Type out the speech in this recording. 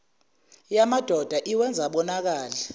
yamadoda iwenza abonakale